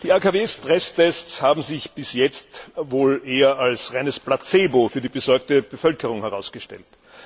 Die AKW Stresstests haben sich bis jetzt wohl eher als reines Placebo für die besorgte Bevölkerung herausgestellt.